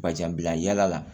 Ka jan bila yala la